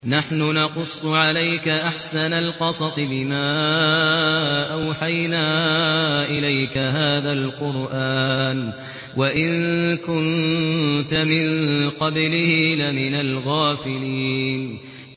نَحْنُ نَقُصُّ عَلَيْكَ أَحْسَنَ الْقَصَصِ بِمَا أَوْحَيْنَا إِلَيْكَ هَٰذَا الْقُرْآنَ وَإِن كُنتَ مِن قَبْلِهِ لَمِنَ الْغَافِلِينَ